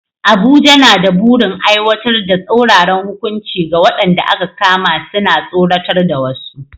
Abuja na da burin aiwatar da tsauraran hukunci ga waɗanda aka kama suna tsoratar da wasu.